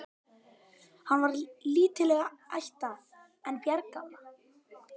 Hann var lítilla ætta, en bjargálna.